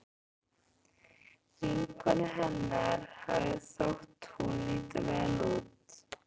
Vinkonu hennar hafði þótt hún líta vel út.